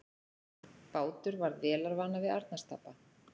Bátur varð vélarvana við Arnarstapa